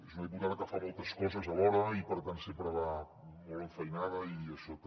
és una diputada que fa moltes coses alhora i per tant sempre va molt enfeinada i això també